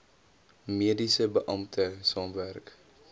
mediese beampte saamwerk